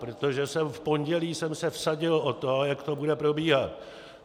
Protože v pondělí jsem se vsadil o to, jak to bude probíhat.